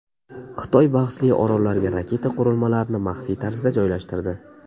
Xitoy bahsli orollarga raketa qurilmalarini maxfiy tarzda joylashtirdi.